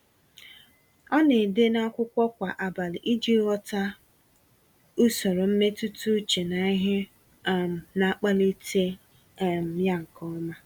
Ọ na-ede n'akwụkwọ kwa abalị iji ghọta usoro mmetụta uche na ihe um na-akpalite um ya nke ọma.